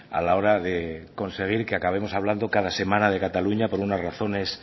a la hora de conseguir que acabemos hablando cada semana de cataluña por unas razones